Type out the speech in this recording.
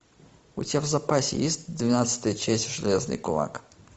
у тебя в запасе есть двенадцатая часть железный кулак